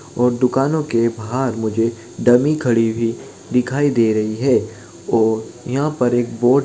और दुकानों के बहार मुझे डमी खड़ी हुई दिखाई दे रही है और यहाँ पर एक बोर्ड --